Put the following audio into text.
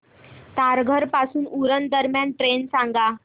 तारघर पासून उरण दरम्यान ट्रेन सांगा